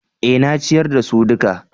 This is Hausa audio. Eh, na ciyar da su duka